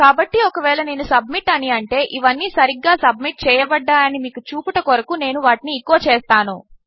కాబట్టి ఒకవేళనేను సబ్మిట్ అనిఅంటే ఇవన్నిసరిగ్గాసబ్మిట్చేయబడ్డాయనిమీకుచూపుటకొరకునేనువాటిని ఎచో చేస్తాను